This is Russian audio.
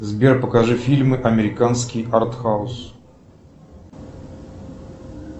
сбер покажи фильмы американский артхаус